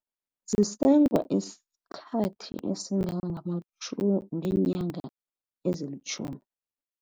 Zisengwa isikhathi esingange ngeenyanga ezilitjhumi.